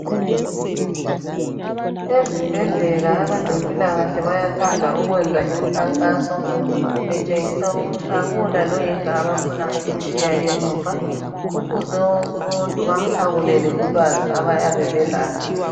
Ezibhedlela abezempilakahle bayathanda ukwenza imikhankaso betshengisa ukuthi akula loyedwa abafuna ukumtshiya emuva Kufuze wonke umuntu bamphakulele ulwazi abayabe belalo